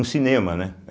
Um cinema, né? é